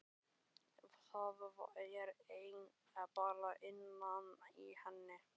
Það er bara innan í henni.